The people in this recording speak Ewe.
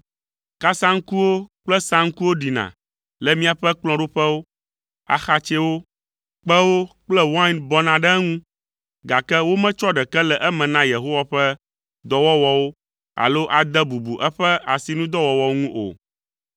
Kasaŋkuwo kple saŋkuwo ɖina le miaƒe kplɔ̃ɖoƒewo, axatsɛwo, kpẽwo kple wain bɔna ɖe eŋu, gake wometsɔ ɖeke le eme na Yehowa ƒe dɔwɔwɔwo alo ade bubu eƒe asinudɔwɔwɔwo ŋu o.